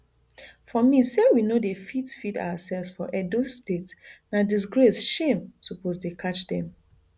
for me say we no dey fit feed oursefs for edo state na disgrace shame suppose dey catch dem